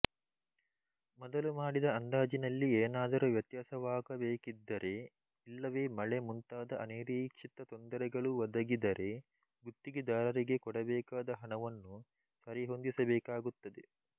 ಮೊದಲು ಮಾಡಿದ ಅಂದಾಜಿನಲ್ಲಿ ಏನಾದರೂ ವ್ಯತ್ಯಾಸವಾಗಬೇಕಿದ್ದರೆ ಇಲ್ಲವೆ ಮಳೆ ಮುಂತಾದ ಅನಿರೀಕ್ಷಿತ ತೊಂದರೆಗಳು ಒದಗಿದರೆ ಗುತ್ತಿಗೆದಾರರಿಗೆ ಕೊಡಬೇಕಾದ ಹಣವನ್ನು ಸರಿಹೊಂದಿಸಬೇಕಾಗುತ್ತದೆ